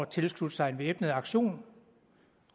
tilslutte sig en væbnet aktion